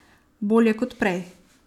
Bolje kot prej.